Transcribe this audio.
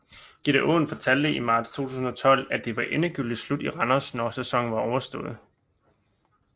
Gitte Aaen fortalte i marts 2012 at det var endegyldigt slut i Randers når sæsonen var overstået